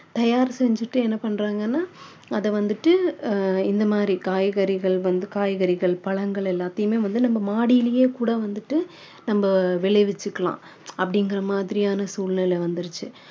தயார் செஞ்சிட்டு என்ன பண்றாங்கன்னா அதை வந்துட்டு அஹ் இந்த மாதிரி காய்கறிகள் வந்து காய்கறிகள் பழங்கள் எல்லாதையுமே வந்து நம்ம மாடியிலேயே கூட வந்துட்டு நம்ம விளை விச்சிக்கலாம் அப்படிங்கிற மாதிரியான சூழ்நிலை வந்துருச்சு